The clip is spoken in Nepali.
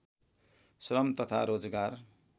श्रम तथा रोजगार